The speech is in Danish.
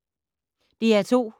DR2